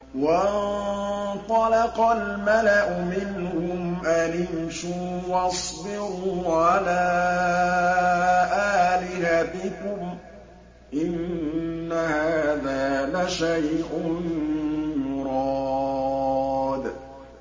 وَانطَلَقَ الْمَلَأُ مِنْهُمْ أَنِ امْشُوا وَاصْبِرُوا عَلَىٰ آلِهَتِكُمْ ۖ إِنَّ هَٰذَا لَشَيْءٌ يُرَادُ